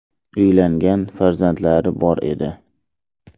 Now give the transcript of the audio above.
Uylangan, farzandlari bor edi.